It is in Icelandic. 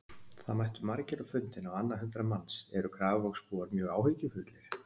Það mættu margir á fundinn, á annað hundrað manns, eru Grafarvogsbúar mjög áhyggjufullir?